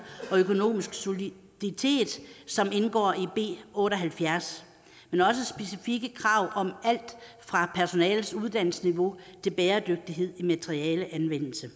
og økonomisk soliditet som indgår i b otte og halvfjerds men også specifikke krav om alt fra personalets uddannelsesniveau til bæredygtighed i materialeanvendelse